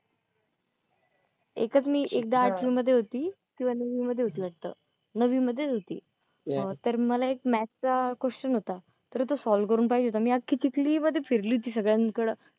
एकच मी एकदा आठवीमध्ये होती तेव्हा नववीमध्ये होती वाटतं, नववी मध्येच होती. तर मला एक मॅथ चा question होता. तर तो सॉल्व्ह करून पाहिजे होता, मी अख्खी चिखली मध्ये फिरली होती सगळ्यांकडं